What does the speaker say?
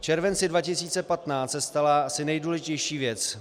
V červenci 2015 se stala asi nejdůležitější věc.